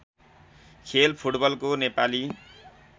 खेल फुटबलको नेपाली